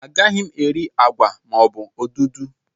Anaghị m eri agwa maọbụ odudu